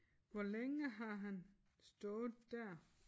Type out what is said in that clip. Hvor længe har han stået dér?